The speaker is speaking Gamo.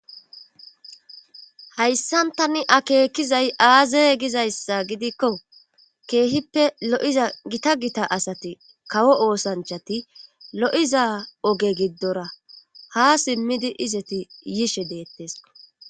hayssan tani akeekizay aaze gizayssa gidikko keehippe lo7iza gita gita asati kawo oosanchati lo7iza oge giddora ha simmidi izeti yiishe deettes